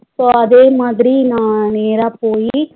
So அதேமாதிரி நா நேர போயி